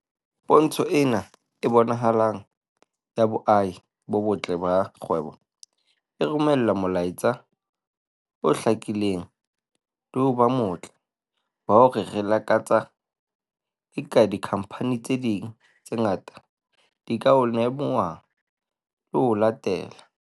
"Pontsho ena e bonahalang ya boahi bo botle ba kgwebo e romela molaetsa o hlakileng le ho ba motle wa hore re lakatsa eka dikhamphani tse ding tse ngata di ka o lemoha le ho o latela."